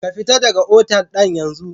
Ka fitar daga otal nan yansu!